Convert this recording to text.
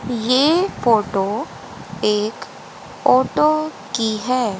ये फोटो एक ऑटो की है।